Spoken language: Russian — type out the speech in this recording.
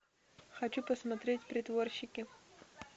хочу посмотреть притворщики